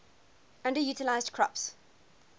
underutilized crops